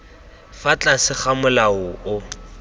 fa tlase ga molao o